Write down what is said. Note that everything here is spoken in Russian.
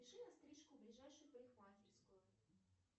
запиши на стрижку в ближайшую парикмахерскую